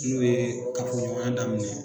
N'o ye kafoɲɔgɔnya daminɛ